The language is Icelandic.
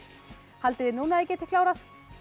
haldið þið núna að þið getið klárað